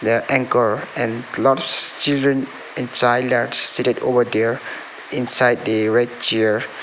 there anchor and lots children and child are sitted over there inside a red chair.